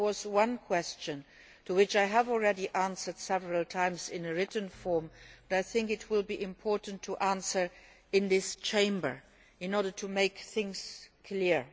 There was, however, one question which I have already answered several times in written form but which I think it is important to answer in this Chamber in order to make things clear.